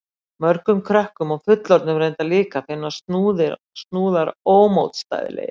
Mörgum krökkum og fullorðnum reyndar líka finnast snúðar ómótstæðilegir.